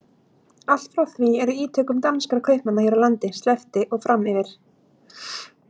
Allt frá því er ítökum danskra kaupmanna hér á landi sleppti og fram yfir